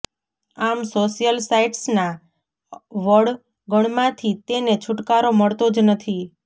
આમ સોશિયલ સાઇટ્સના વળગણમાંથી તેને છુટકારો મળતો જ નથી